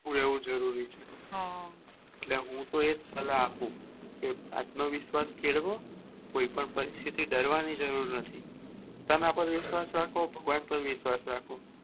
ઉન્હો રેવું જરૂરી છે એટલે હું તો એજ સલાહ આપું કે આત્મવિશ્વાસ કેળવવો કોઈ પણ પરિસ્થિતિ ડરવાની જરૂર નથી પોતાના પર વિશ્વાસ રાખો ભગવાન પર વિશ્વાસ રાખો